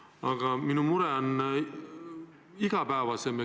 Aga minu mure on igapäevasem.